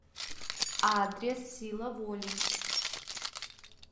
адрес сила воли